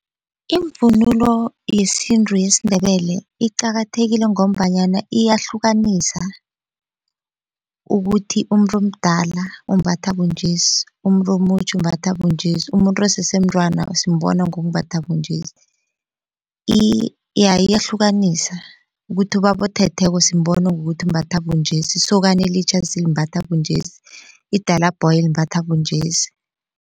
Imvunulo yesintu yesiNdebele iqakathekile ngombanyana iyahlukanisa ukuthi umuntu omdala umbatha bunjesi, umuntu omutjha umbatha bunjesi, umuntu osese mntwana simbona ngokumbatha bunjesii, iyahlukanisa ukuthi ubaba othetheko simbona ngokuthi umbatha bunjesi, isokana elitjha limbatha bunjesi, idalabhoyi limbhatha bunjesi.